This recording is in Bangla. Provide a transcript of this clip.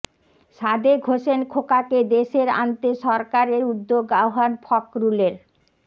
সাদেক হোসেন খোকাকে দেশে আনতে সরকারের উদ্যোগ আহ্বান ফখরুলের